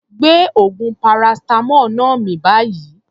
Gbé oògùn paracetamol náà mì báyìí.